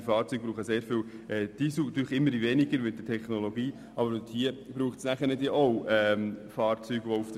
Auch diese Fahrzeuge brauchen sehr viel Treibstoff, wenn es auch wegen der Technologie immer weniger wird.